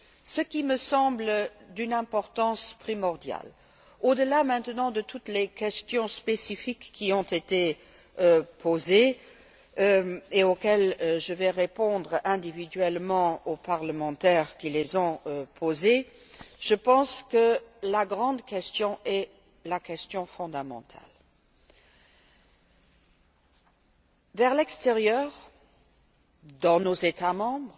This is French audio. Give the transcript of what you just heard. Ce qui me semble d'une importance primordiale, au delà maintenant de toutes les questions spécifiques qui ont été posées et je vais répondre individuellement aux parlementaires qui les ont posées je pense que la grande question est la question fondamentale. Vers l'extérieur, dans nos États membres,